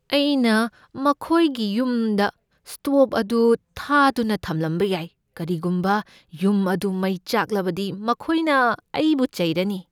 ꯑꯩꯅ ꯃꯈꯣꯏꯒꯤ ꯌꯨꯝꯗ ꯁ꯭ꯇꯣꯕ ꯑꯗꯨ ꯊꯥꯗꯨꯅ ꯊꯝꯂꯝꯕ ꯌꯥꯏ꯫ ꯀꯔꯤꯒꯨꯝꯕ ꯌꯨꯝ ꯑꯗꯨ ꯃꯩ ꯆꯥꯛꯂꯕꯗꯤ ꯃꯈꯣꯏꯅ ꯑꯩꯕꯨ ꯆꯩꯔꯅꯤ꯫